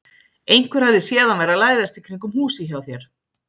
Einhver hafði séð hann vera að læðast í kringum húsið hjá þér.